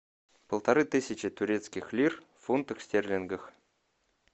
полторы тысячи турецких лир в фунтах стерлингах